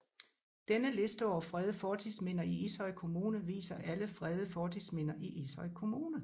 Denne liste over fredede fortidsminder i Ishøj Kommune viser alle fredede fortidsminder i Ishøj Kommune